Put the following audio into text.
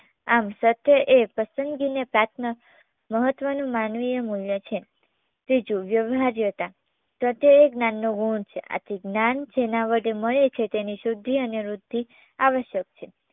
આમ સત્ય એ પસંદગીને પ્રાત્ન મહત્વનું માનવીય મુલ્ય છે ત્રીજું વ્યવહાર્યતા સત્ય એ જ્ઞાનનો ગુણ છે આથી જ્ઞાન જેના વડે મળે છે તેની શુદ્ધિ અને વૃદ્ધિ આવશ્યક છે